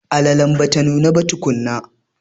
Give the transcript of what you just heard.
Alalen bata nuna ba tukunna.